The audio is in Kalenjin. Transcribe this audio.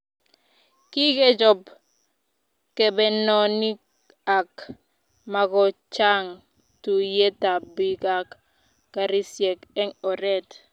Kikechob kebenonik ak makochang tuiyet ab bik ak karisiek eng oret